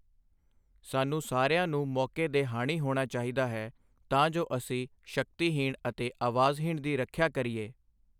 ਸਾਨੂੰ ਸਾਰਿਆਂ ਨੂੰ ਮੌਕੇ ਦੇ ਹਾਣੀ ਹੋਣਾ ਚਾਹੀਦਾ ਹੈ, ਤਾਂ ਜੋ ਅਸੀਂ ਸ਼ਕਤੀਹੀਣ ਅਤੇ ਆਵਾਜ਼ਹੀਣ ਦੀ ਰੱਖਿਆ ਕਰੀਏ।